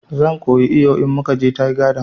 Zan koyi iyo in mukaje tiga dam